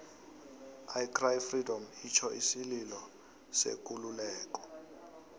i cry freedom itjho isililo sekululeko